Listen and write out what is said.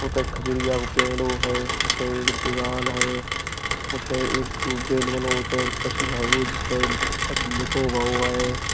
उतै खजुरिया को पेड़ो है। उतै एक दीवाल है। उतै एक तू बैल बनो। कछु हेगो जिसपे कछु लिखो गयो है।